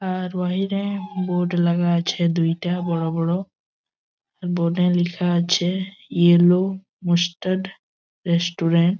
আর ওয়াহিরে বোর্ড লাগা আছে দুইটা বোরো বোরো বোর্ড এ লেখা আছে ইয়োলো মস্টাড রেস্টুরেন্ট ।